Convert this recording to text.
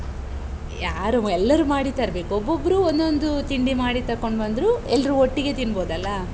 ಯಾರು ಎಲ್ಲರೂ ಮಾಡಿ ತರ್ಬೇಕು, ಒಬ್ಬೊಬ್ಬ್ರು ಒಂದೊಂದು ತಿಂಡಿ ಮಾಡಿ ತಕೊಂಡು ಬಂದ್ರೂ, ಎಲ್ರೂ ಒಟ್ಟಿಗೆ ತಿನ್ಬೋದಲ್ಲಾ?